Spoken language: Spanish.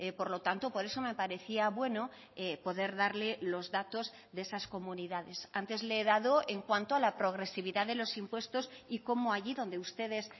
por lo tanto por eso me parecía bueno poder darle los datos de esas comunidades antes le he dado en cuanto a la progresividad de los impuestos y cómo allí donde ustedes